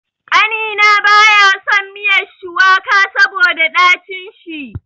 Ƙanina baya son miya shuwaka saboda dacin shi.